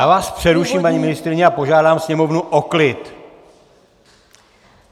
Já vás přeruším, paní ministryně, a požádám sněmovnu o klid.